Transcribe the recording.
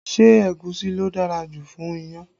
Ṣé egusi ló dára jù fún iyán?